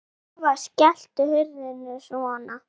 Eva: Skelltu hurðum og svona?